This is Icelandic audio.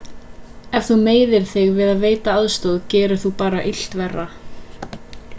ef þú meiðir þig við að veita aðstoð gerir þú bara illt verra